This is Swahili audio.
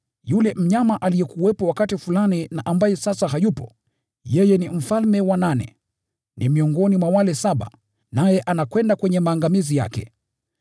Yule mnyama aliyekuwepo wakati fulani na ambaye sasa hayupo, yeye ni mfalme wa nane. Ni miongoni mwa wale saba, naye anakwenda kwenye maangamizi yake.